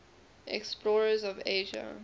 explorers of asia